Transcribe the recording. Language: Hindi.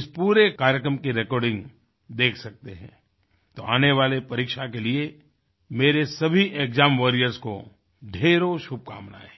इस पूरे कार्यक्रम की रेकॉर्डिंग देख सकते हैंतो आने वाली परीक्षा के लिए मेरे सभी एक्साम वॉरियर्स को ढ़ेरो शुभकामनाएँ